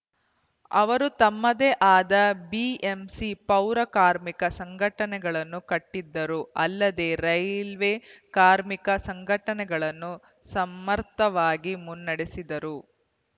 ಅವರು ತಮ್ಮದೇ ಆದ ಬಿಎಂಸಿ ಪೌರ ಕಾರ್ಮಿಕ ಸಂಘಟನೆಗಳನ್ನು ಕಟ್ಟಿದರು ಅಲ್ಲದೆ ರೈಲ್ವೆ ಕಾರ್ಮಿಕ ಸಂಘಟನೆಯನ್ನು ಸಮರ್ಥವಾಗಿ ಮುನ್ನಡೆಸಿದ್ದರು